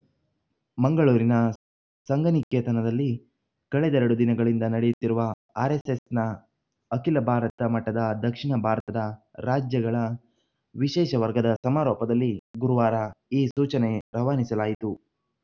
ಮಂಗಳೂರಿನ ಸಂಘನಿಕೇತನದಲ್ಲಿ ಕಳೆದೆರಡು ದಿನಗಳಿಂದ ನಡೆಯುತ್ತಿರುವ ಆರೆಸ್ಸೆಸ್‌ನ ಅಖಿಲ ಭಾರತ ಮಟ್ಟದ ದಕ್ಷಿಣ ಭಾರತದ ರಾಜ್ಯಗಳ ವಿಶೇಷ ವರ್ಗದ ಸಮಾರೋಪದಲ್ಲಿ ಗುರುವಾರ ಈ ಸೂಚನೆ ರವಾನಿಸಲಾಯಿತು